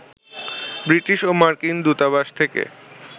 British ও মার্কিন দূতাবাস থেকে